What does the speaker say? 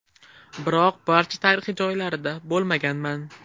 Biroq barcha tarixiy joylarida bo‘lmaganman.